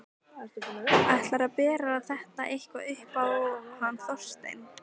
Ætlarðu að bera þetta eitthvað upp á hann Þorstein?